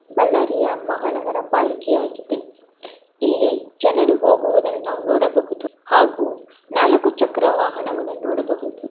ಬಳ್ಳಾರಿಯ ಮಹಾನಗರ ಪಾಲಿಕೆಯಾಗಿದೆ ಇಲ್ಲಿ ಜನರು ಹೋಗುವುದನ್ನು ನಾವು ನೋಡಬಹುದು ಹಾಗೂ ನಾಲ್ಕು ಚಕ್ರ ವಾಹನವನ್ನು ನೋಡಬಹುದು.